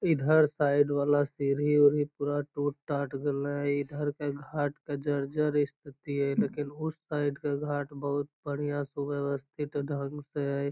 इधर साइड वाला सीढ़ी उढ़ी पूरा टूट टाट गल हइ इधर का घाट का जर्जर स्तिथि है लेकिन उस साइड के घाट बहुत बढ़िया सुव्यवस्थित ढंग से हई |